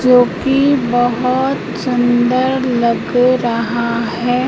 जो कि बहोत सुंदर लग रहा है।